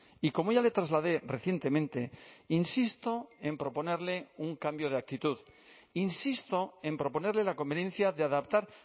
y como ya le trasladé recientemente insisto en proponerle un cambio de actitud insisto en proponerle la conveniencia de adaptar